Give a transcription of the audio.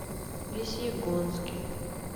весьегонске